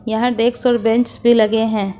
यहां डेस्क और बेंच भी लगे हैं।